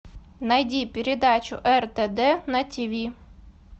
найди передачу ртд на тв